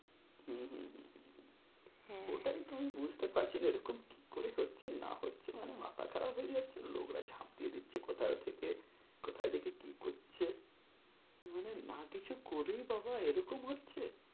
হ্যাঁ, ওটাই তো আমি বুঝতে পারছি না এরকম কি করে হচ্ছে না হচ্ছে মানে মাথা খারাপ হয়ে যাচ্ছে লোকরা ঝাঁপ দিয়ে দিচ্ছে কোথাও থেকে কোথাও দেখি কি করছে মানে না কিছু করেই বাবা এরকম হচ্ছে,